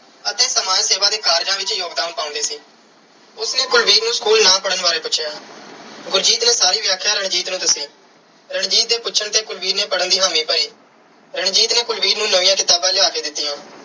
ਅਤੇ ਸਮਾਜ ਸੇਵਾ ਦੇ ਕਾਰਜਾਂ ਵਿੱਚ ਯੋਗਦਾਨ ਪਾਉਂਦੀ ਸੀ। ਉਸ ਨੇ ਕੁਲਵੀਰ ਨੂੰ school ਨਾ ਪੜ੍ਹਨ ਬਾਰੇ ਪੁੱਛਿਆ। ਗੁਰਜੀਤ ਨੇ ਸਾਰੀ ਵਿਆਖਿਆ ਰਣਜੀਤ ਨੂੰ ਦੱਸੀ। ਰਣਜੀਤ ਦੇ ਪੁੱਛਣ ਤੇ ਕੁਲਵੀਰ ਨੇ ਪੜ੍ਹਨ ਦੀ ਹਾਮੀ ਭਰੀ। ਰਣਜੀਤ ਨੇ ਕੁਲਵੀਰ ਨੂੰ ਨਵੀਆਂ ਕਿਤਾਬਾਂ ਲਿਆ ਕੇ ਦਿੱਤੀਆਂ।